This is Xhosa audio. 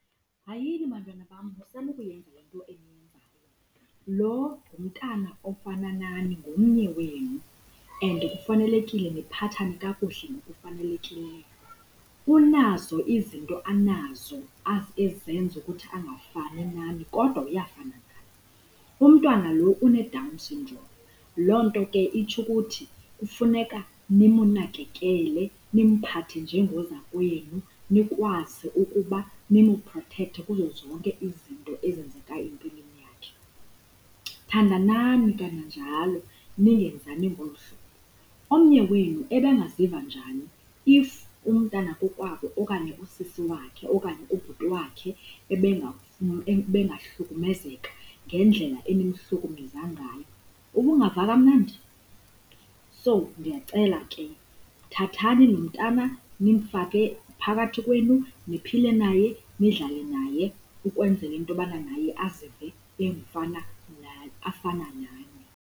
Hayini, bantwana bam, musani ukuyenza loo nto. Lo ngumntana ofana nani, ngomnye wenu and kufanelekile niphathane kakuhle ngokufanelekileyo. Unazo izinto anazo ezenza ukuthi angafani nani kodwa uyafana nani. Umntana lo uneDown syndrome, loo nto ke itsho ukuthi kufuneka nimunakakele, nimphathe njengoza kwenu nikwazi ukuba nimuprothekte kuzo zonke izinto ezenzeka empilweni yakhe. Thandanani kananjalo, ningenzani ngolo hlobo. Omnye wenu ebengaziva njani if umntana kokwabo okanye usisi wakhe, okanye kubhuti wakhe ebengahlukumezeka ngendlela enimhlukumeza ngayo? Ubungava kamnandi? So, ndiyacela ke, thathani loo mntana nimfake phakathi kwenu, niphile naye, nidlale naye ukwenzela into yokubana naye azive afana nani.